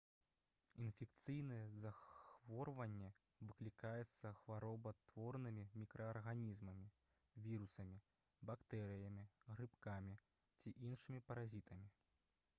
інфекцыйнае захворванне выклікаецца хваробатворнымі мікраарганізмамі вірусамі бактэрыямі грыбкамі ці іншымі паразітамі